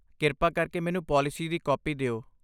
ਕਿਰਪਾ ਕਰਕੇ ਮੈਨੂੰ ਪਾਲਿਸੀ ਦੀ ਕਾਪੀ ਦਿਓ।